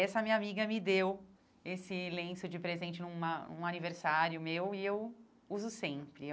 Essa minha amiga me deu esse lenço de presente num a num aniversário meu e eu uso sempre.